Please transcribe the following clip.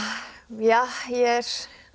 ég er